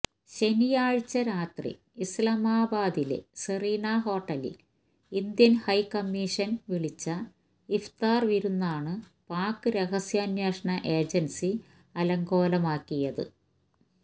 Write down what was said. ശനിയാഴ്ച രാത്രി ഇല്സാമാബാദിലെ സെറീന ഹോട്ടലില് ഇന്ത്യന് ഹൈക്കമ്മീഷന് വിളിച്ച ഇഫ്താര് വിരുന്നാണ് പാക് രഹസ്യാന്വേഷണ ഏജന്സി അലങ്കോലമാക്കിയത്